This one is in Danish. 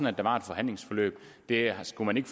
at der var et forhandlingsforløb det skulle man ikke